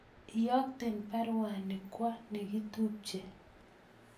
Iyokten baruani kwo negitupche